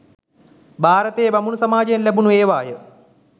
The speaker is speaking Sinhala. භාරතයේ බමුණු සමාජයෙන් ලැබුණු ඒවා ය